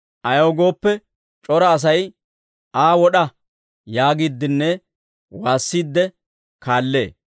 Ayaw gooppe, c'ora asay, «Aa wod'a!» yaagiiddinne waassiidde kaallee.